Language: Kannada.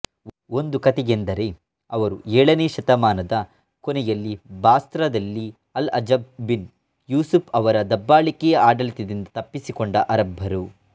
ಒಂದು ಕಥೆಯೆಂದರೆ ಅವರು ಏಳನೇ ಶತಮಾನದ ಕೊನೆಯಲ್ಲಿ ಬಾಸ್ರಾದಲ್ಲಿ ಅಲ್ಅಜ್ಜಜ್ ಬಿನ್ ಯೂಸುಫ್ ಅವರ ದಬ್ಬಾಳಿಕೆಯ ಆಡಳಿತದಿಂದ ತಪ್ಪಿಸಿಕೊಂಡ ಅರಬ್ಬರು